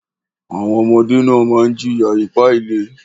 Àwọn ọmọdé náà máa ń jìyà ipá-ilé.